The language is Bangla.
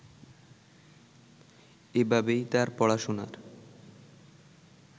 এভাবেই তার পড়াশোনার